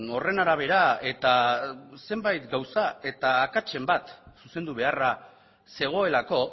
horren arabera eta zenbait gauza eta akatsen bat zuzendu beharra zegoelako